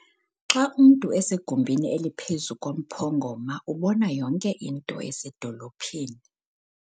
Xa umntu esegumbini eliphezu komphongoma ubona yonke into esedolophini.